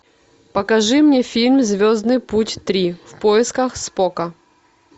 покажи мне фильм звездный путь три в поисках спока